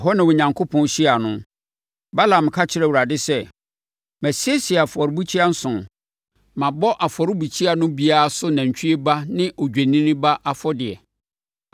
Ɛhɔ na Onyankopɔn hyiaa no. Balaam ka kyerɛɛ Awurade sɛ, “Masiesie afɔrebukyia nson. Mabɔ afɔrebukyia no biara so nantwie ba ne odwennini ba afɔdeɛ.”